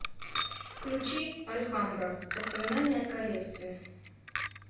включи альхамбра воспоминания о королевстве